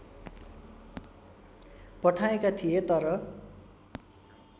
पठाएका थिए तर